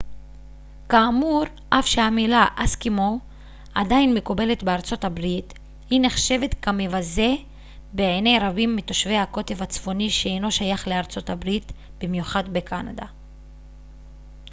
כאמור אף שהמילה אסקימואי עדיין מקובלת בארצות הברית היא נחשבת כמבזה בעיני רבים מתושבי הקוטב הצפוני שאינו שייך לארה ב במיוחד בקנדה